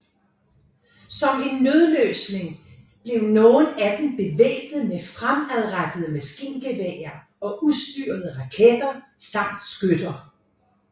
Som en nødløsning blev nogle af dem bevæbnet med fremadrettede maskingeværer og ustyrede raketter samt skytter